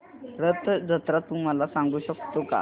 रथ जत्रा तू मला सांगू शकतो का